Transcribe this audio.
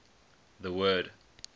the word